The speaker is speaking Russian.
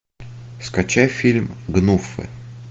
скачай фильм гнуфы